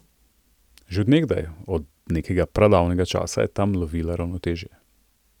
Že od nekdaj, od nekega pradavnega časa, je tam lovila ravnotežje.